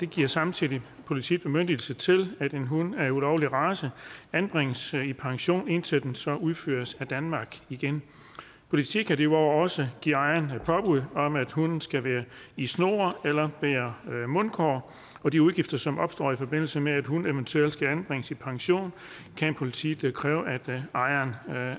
giver samtidig politiet bemyndigelse til at en hund af ulovlig race anbringes i pension indtil den så udføres af danmark igen politiet kan derudover også give ejeren påbud om at hunden skal være i snor eller bære mundkurv og de udgifter som opstår i forbindelse med at hunden eventuelt skal anbringes i pension kan politiet kræve at ejeren